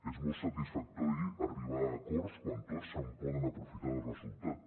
és molt satisfactori arribar a acords quan tots se’n poden aprofitar del resultat